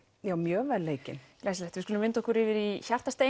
já mjög vel leikin glæsilegt við skulum vinda okkur yfir í